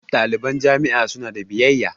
Ɗaliban jami'a su na da biyayya